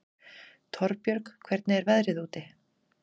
Torbjörg, hvernig er veðrið úti?